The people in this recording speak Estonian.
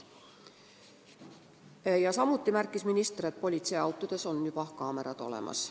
Samuti märkis minister, et politseiautodes on juba kaamerad olemas.